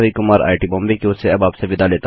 यह स्क्रिप्ट रवि द्वारा अनुवादित है